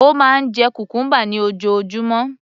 Ó máa ń jẹ cucumber ní ojoojúmọ́